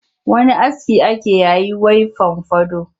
Wani aski ake yayi was fomfado